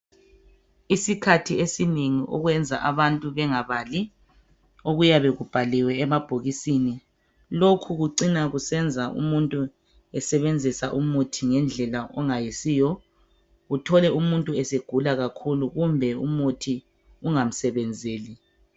Isikhathi esinengi okwenza abantu bengabali okuyabe kubhaliwe emabhokisini lokhu kucina kusenza umuntu esebenzisa umuthi ngendlela engayisiyo uthole umuntu esegula kakhulu kumbe umuthi ungamsebenzeli.